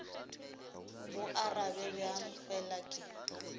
go arabe bjang fela ke